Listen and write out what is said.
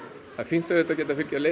það er fínt auðvitað að geta